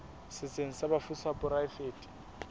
setsheng sa bafu sa poraefete